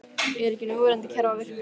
Er ekki núverandi kerfi að virka?